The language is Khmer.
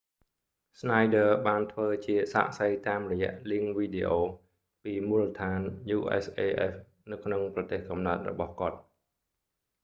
schneider ស្នាយឌ័រ បានធ្វើជាសាក្សីតាមរយៈលីងវីដេអូ videolink ពីមូលដ្ឋាន usaf នៅក្នុងប្រទេសកំណើតរបស់គាត់